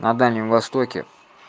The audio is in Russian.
на дальнем востоке